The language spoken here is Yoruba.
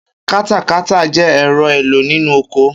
Katakata jẹ́ ẹ̀rọ èlò nínú oko